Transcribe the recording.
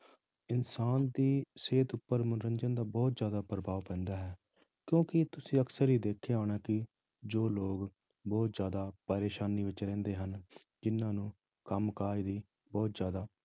ਇਨਸਾਨ ਦੀ ਸਿਹਤ ਉੱਪਰ ਮਨੋਰੰਜਨ ਦਾ ਬਹੁਤ ਜ਼ਿਆਦਾ ਪ੍ਰਭਾਵ ਪੈਂਦਾ ਹੈ, ਕਿਉਂਕਿ ਤੁਸੀਂ ਅਕਸਰ ਹੀ ਦੇਖਿਆ ਹੋਣਾ ਕਿ ਜੋ ਲੋਕ ਬਹੁਤ ਜ਼ਿਆਦਾ ਪਰੇਸਾਨੀ ਵਿੱਚ ਰਹਿੰਦੇ ਹਨ, ਜਿੰਨਾਂ ਨੂੰ ਕੰਮ ਕਾਜ ਦੀ ਬਹੁਤ ਜ਼ਿਆਦਾ